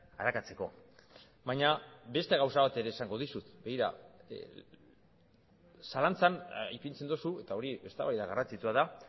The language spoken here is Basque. arakatzeko baina beste gauza bat ere esango dizut begira zalantzan ipintzen duzu eta hori eztabaida garrantzitsua da